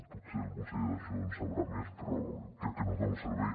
potser el conseller d’això en sabrà més però crec que no es dona un servei